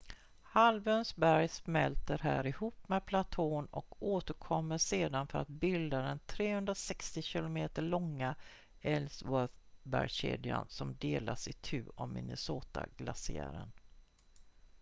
halvöns berg smälter här ihop med platån och återkommer sedan för att bilda den 360 km långa ellsworth-bergskedjan som delas itu av minnesota-glaciären